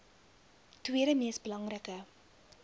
tweede mees belangrike